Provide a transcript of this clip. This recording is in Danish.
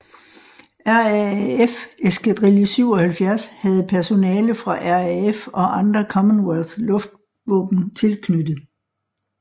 RAAF eskadrille 77 havde personale fra RAF og andre Commonwealth luftvåben tilknyttet